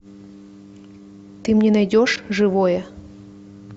ты мне найдешь живое